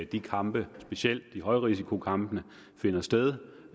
de kampe specielt højrisikokampene finder sted